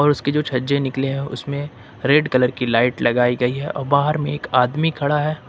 और उसके जो छज्जे निकले हैं उसमें रेड कलर की लाइट लगाई गई है और बाहर में एक आदमी खड़ा है।